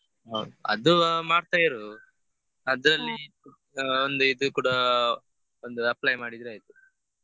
ಹೌದ್ ಅದು ಮಾಡ್ತಾ ಇರು ಆ ಒಂದು ಇದು ಕೂಡ ಒಂದು apply ಮಾಡಿದ್ರಾಯ್ತು.